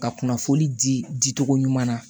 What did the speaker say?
Ka kunnafoni di di di cogo ɲuman na